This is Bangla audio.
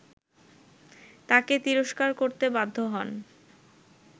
তাকে তিরস্কার করতে বাধ্য হন